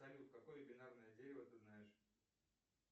салют какое бинарное дерево ты знаешь